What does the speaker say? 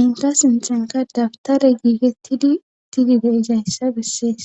enta sinthenka dabtare giigettidi itidi deizayssa bessees